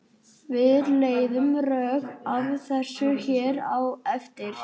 Við leiðum rök að þessu hér á eftir.